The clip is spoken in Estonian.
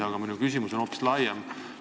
Aga minu küsimus on hoopis laiem.